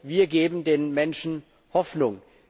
Wir geben den Menschen Hoffnung.